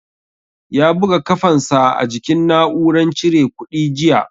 Ya buga kafan sa a jikin na'uran cire kuɗi jiya